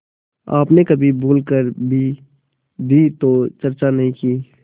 आपने कभी भूल कर भी दी तो चर्चा नहीं की